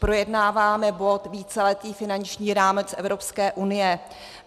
Projednáváme bod víceletý finanční rámec Evropské unie.